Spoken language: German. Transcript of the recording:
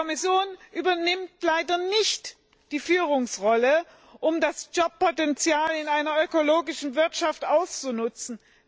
Die Kommission übernimmt leider nicht die Führungsrolle, um das Jobpotenzial in einer ökologischen Wirtschaft auszunutzen.